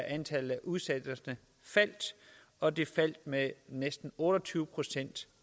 antallet af udsættelser faldt og det faldt med næsten otte og tyve procent